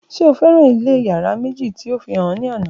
Ṣe o fẹran ilé yárà meji ti o fihan ọ ni ana?